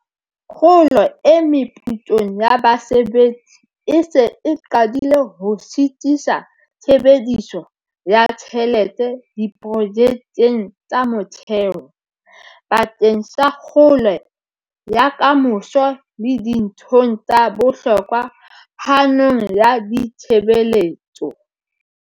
Kgolo e meputsong ya basebetsi e se e qadile ho sitisa tshebediso ya tjhelete diprojekeng tsa motheo, bakeng sa kgolo ya ka moso le dinthong tsa bohlokwa phanong ya ditshebeletso.